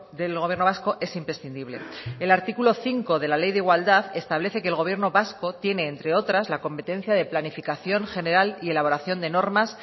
del gobierno vasco es imprescindible el artículo cinco de la ley de igualdad establece que el gobierno vasco tiene entre otras la competencia de planificación general y elaboración de normas